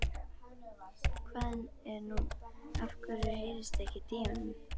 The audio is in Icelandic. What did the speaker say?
Hvað er nú, af hverju heyrist ekkert í honum?